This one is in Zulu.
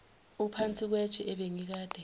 uphansi kwetshe ebengikade